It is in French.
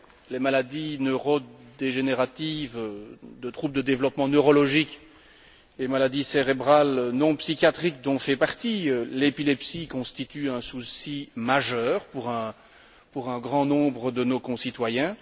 les maladies neurodégénératives, les troubles de développement neurologique, les maladies cérébrales non psychiatriques, dont fait partie l'épilepsie, constituent un souci majeur pour un grand nombre de nos concitoyens.